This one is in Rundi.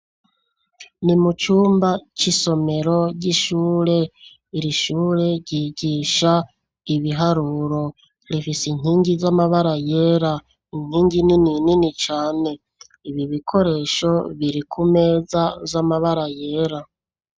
Ni mu cumba, c'isomero ry'ishure, iri shure ryigisha ibiharuro, rifise inkingi z'amabara yera, inkingi nini nini cane, ibi bikoresho, biri ku meza, z'amabara yera.